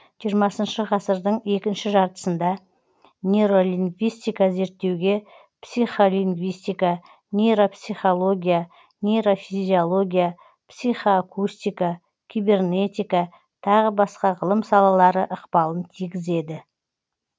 жиырмасыншы ғасыр екінші жартысында нейролингвистика зерттеуге психолингвистика нейропсихология нейрофизиология психоакустика кибернетика тағы басқа ғылым салалары ықпалын тигізеді